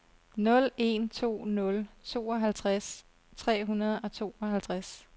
nul en to nul tooghalvtreds tre hundrede og tooghalvtreds